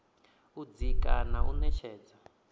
u dzika na u ṅetshedza